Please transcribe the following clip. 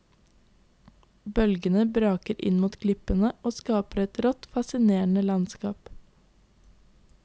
Bølgene braker inn mot klippene og skaper et rått, fasinerende landskap.